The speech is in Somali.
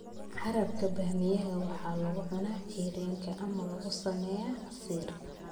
Qarabka bamaameyga waxaa lagu cunaa cayriin ama lagu sameeyaa casiir.